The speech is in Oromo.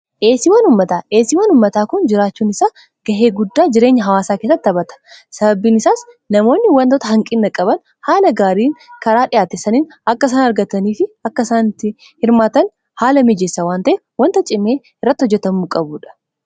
dhiiyeesiiwan ummataa, dhiiyeesiiwan ummataa kun jiraachuun isaa gahee guddaa jireenyaa hawaasaa keessatti taaphaata sabaabiini isaas namoonni wantoota hanqinna qabaan haala gaariin karaa dhiyaate saniin akka isaan argatanii fi akka isaanitti hirmaatan haala miijeessa waanta'ef wantaa cimee irratti hojjetamuu qabuudha.